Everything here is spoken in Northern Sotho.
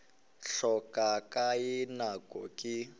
hlokago ka ye nako ke